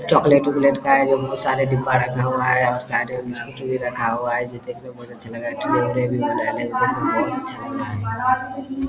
chocolate -उकलेट का है डब्बा रखा हुआ है बहुत सारे साइड में बिस्कुट भी रहा हुआ है जो देखने में बहुत अच्छा लग रहा है --